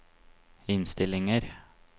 innstillinger